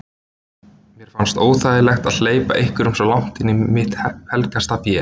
Mér fannst óþægilegt að hleypa einhverjum svo langt inn í mitt helgasta vé.